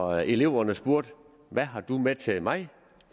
og eleverne spurgte hvad har du med til mig